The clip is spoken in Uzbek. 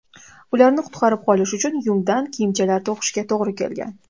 Ularni qutqarib qolish uchun yungdan kiyimchalar to‘qishga to‘g‘ri kelgan.